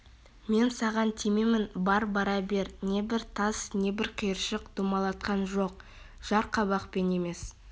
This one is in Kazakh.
мен саған тимеймін бар бара бер не бір тас не бір қиыршық домалатқан жоқ жарқабақпен емес